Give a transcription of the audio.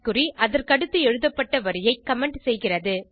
குறி அதற்கடுத்து எழுதப்பட்ட வரியை கமெண்ட் செய்கிறது